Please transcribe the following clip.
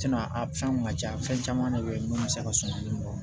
a fɛnw ka ca fɛn caman de be yen munnu mi se ka suman nin dɔn